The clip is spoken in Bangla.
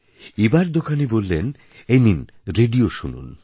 এবার দোকানী বললেন এই নিন রেডিও শুনুন